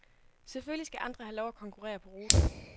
Selvfølgelig skal andre have lov at konkurrere på ruten.